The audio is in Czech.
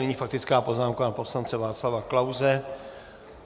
Nyní faktická poznámka pana poslance Václava Klause.